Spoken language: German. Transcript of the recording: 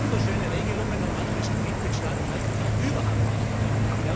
Wir haben wunderschöne Regelungen, nur manche Mitgliedstaaten halten sich überhaupt nicht daran.